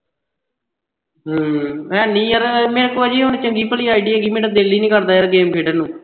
ਹਮ ਹੈਨੀ ਯਾਰ ਮੇਰੇ ਕੋਲ ਅਜੇ ਹੁਣ ਚੰਗੀ ਭਲੀ ID ਹੈਗੀ ਮੇਰਾ ਦਿਲ ਈ ਨੀ ਕਰਦਾ ਯਾਰ game ਖੇਡਣ ਨੂੰ।